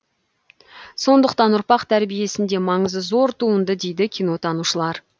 сондықтан ұрпақ тәрбиесінде маңызы зор туынды дейді кинотанушылар